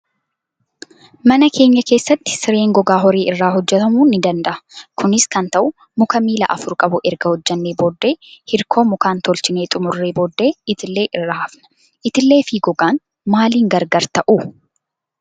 Mana keenya keessatti sireen gogaa horii irraa hojjatamuu ni danda'a. Kunis kan ta'u muka miila afur qabu erga hojjannee booddee hirkoo mikaan tolchinee xumurree booddee itillee irra hafna. Itillee fi gogaan maaliin gargar ta'uu?